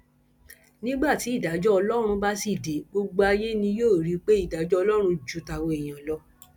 nígbà tí ìdájọ ọlọrun bá sì dé gbogbo ayé ni yóò rí i pé ìdájọ ọlọrun ju tàwa èèyàn lọ